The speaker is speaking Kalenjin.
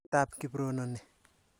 Karit ap Kiprono ni.